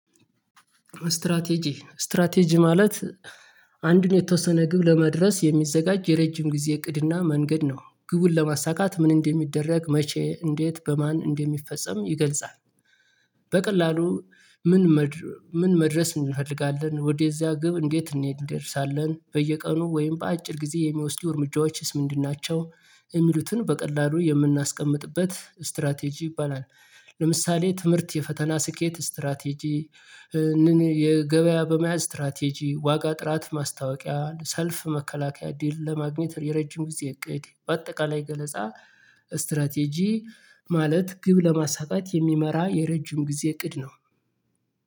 ስትራቴጂ ስትራቴጂ ማለት አንዱን የተወሰነ ግብ ለመድረስ የሚዘጋጅ የረጅም ጊዜ እቅድና መንገድ ነው። ግቡን ለማሳካት ምን እንደሚደረግ መቼ እንዴት በማን እንደሚፈጸም ይገልጻል። በቀላሉ ምን ምን መድረስ እንፈልጋለን ወደዚያ ግብ እንዴት እንደርሳለን በየቀኑ ወይም በአጭር ጊዜ የሚወስዱ እርምጃዎችስ ምንድን ናቸው? የሚሉትን በቀላሉ የምናስቀምጥበት ስትራቴጂ ይባላል። ለምሳሌ ትምህርት የፈተና ስኬት ስትራቴጂ። የገበያ በመያዝ ስትራቴጂ ዋጋ ጥራት ማስታወቂያ ሰልፍ መከላከያ ድል ለማግኘት የረጅም ጊዜ እቅድ በአጠቃላይ ገለጻ። ስትራቴጂ ማለት ግብ ለማሳካት የሚመራ የረጅም ጊዜ እቅድ ነው